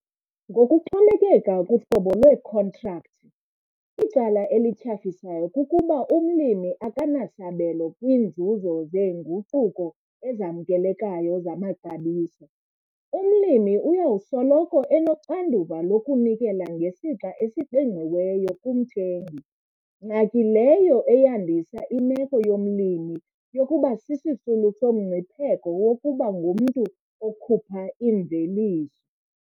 Ngokuxhomekeka kuhlobo lweekhontrakthi, icala elityhafisayo kukuba umlimi akanasabelo kwiinzuzo zeenguquko ezamkelekayo zamaxabiso. Umlimi uya kusoloko enoxanduva lokunikela ngesixa esiqingqiweyo kumthengi, ngxaki leyo eyandisa imeko yomlimi yokuba sisisulu somngcipheko wokuba ngumntu okhupha imveliso.